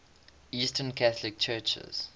eastern catholic churches